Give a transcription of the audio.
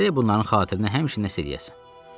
Gərək bunların xatirinə həmişə nəsə eləyəsən.